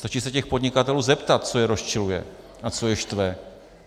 Stačí se těch podnikatelů zeptat, co je rozčiluje a co je štve.